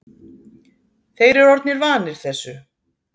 Þeir eru orðnir vanir þessu.